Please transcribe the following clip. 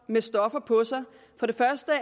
med stoffer på sig